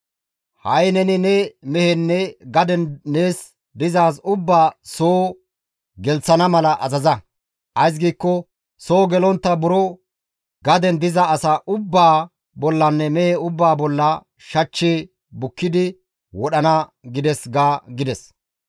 Ha7i neni ne mehenne gaden nees dizaaz ubbaa soo gelththana mala azaza; ays giikko soo gelontta buro gaden diza asa ubbaa bollanne mehe ubbaa bolla shachchi bukkidi wodhana› gides ga» gides.